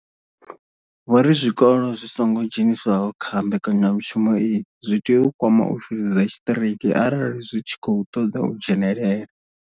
Vho ri zwikolo zwi songo dzheniswaho kha mbekanyamushumo iyi zwi tea u kwama ofisi dza tshiṱiriki arali zwi tshi khou ṱoḓa u dzhenela.